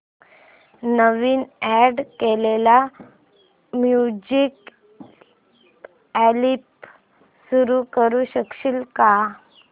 नवीन add केलेला music album सुरू करू शकशील का